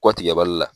Kɔ tigɛ bali la